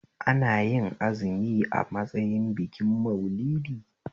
Anayin azumi a matsayin bikin Maulidi?